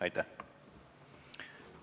Aitäh!